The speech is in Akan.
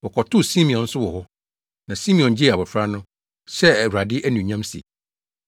wɔkɔtoo Simeon nso wɔ hɔ, na Simeon gyee abofra no, hyɛɛ Awurade anuonyam se,